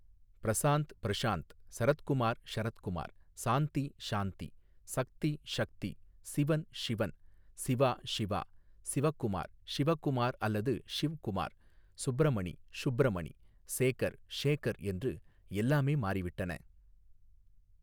ப்ரசாந்த் ப்ரஷாந்த் சரத்குமார் ஷரத்குமார் சாந்தி ஷாந்தி சக்தி ஷக்தி சிவன் ஷிவன் சிவா ஷிவா சிவகுமார் ஷிவகுமார் அல்லது ஷிவ்குமார் சுப்ரமணி ஷுப்ரமணி சேகர் ஷேகர் என்று எல்லாமே மாறிவிட்டன.